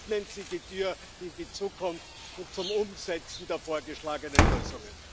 Öffnen Sie die Türe in die Zukunft und zum Umsetzen der vorgeschlagenen Lösungen!